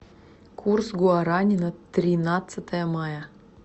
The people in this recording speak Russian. курс гуарани на тринадцатое мая